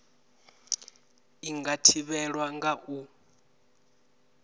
i nga thivhelwa nga u